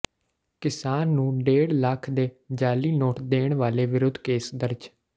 ਕਿਸਾਨ ਨੂੰ ਡੇਢ ਲੱਖ ਦੇ ਜਾਅਲੀ ਨੋਟ ਦੇਣ ਵਾਲੇ ਵਿਰੁੱਧ ਕੇਸ ਦਰਜ